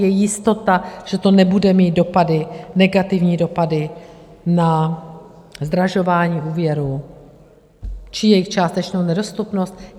Je jistota, že to nebude mít dopady, negativní dopady na zdražování úvěrů či jejich částečnou nedostupnost?